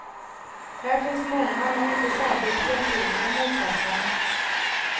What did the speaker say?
Här finns många men inte särskilt entydiga motsatser.